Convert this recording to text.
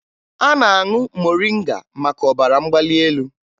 A na-aṅụ moringa maka ọbara mgbali elu